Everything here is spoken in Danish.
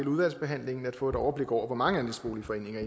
udvalgsbehandlingen at få et overblik over hvor mange boligforeninger